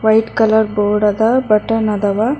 White colour board ಅದ button ಅದಾವ.